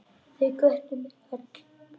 Þau hvöttu mig öll.